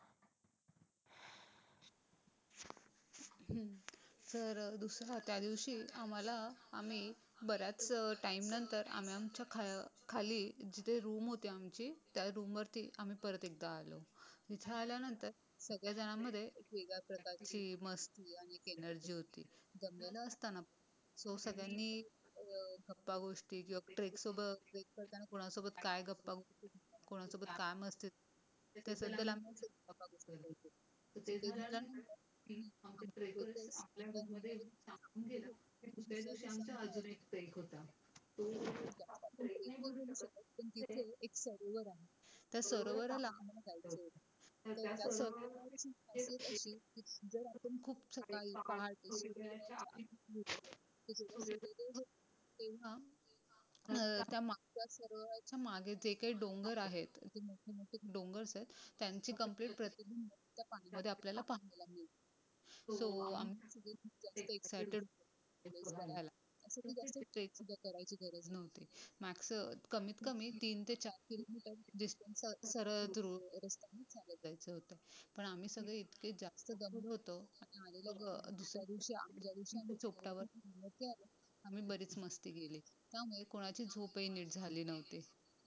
चोपटावर आम्ही बरीच मस्ती केली. त्यामुळे कोणाची झोपही नीट झाली नव्हती.